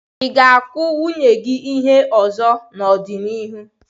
Ị ga-akụ nwunye gị ọzọ n'ọdịnihu?